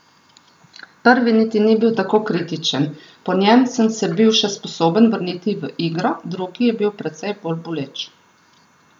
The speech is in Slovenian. Prvi niti ni bil tako kritičen, po njem sem se bil še sposoben vrniti v igro, drugi je bil precej bolj boleč.